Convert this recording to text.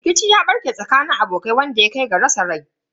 Rikici ya barke a tsakanin abokai wanda ya kai ga rasa rai.